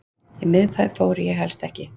Í miðbæ fór ég helst ekki.